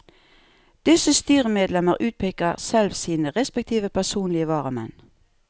Disse styremedlemmer utpeker selv sine respektive personlige varamenn.